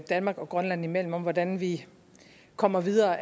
danmark og grønland imellem om hvordan vi kommer videre